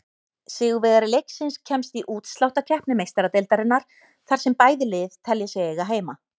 Sigurvegari leiksins kemst í útsláttarkeppni Meistaradeildarinnar, þar sem bæði lið telja sig eiga heima.